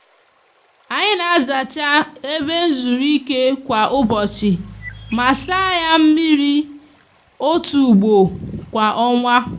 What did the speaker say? anyi n'azacha ebe nzuruike kwa ubochi ma saa ya mmiri otu ugbo kwa onwa.